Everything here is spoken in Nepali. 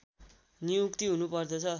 नियुक्ति हुनु पर्दछ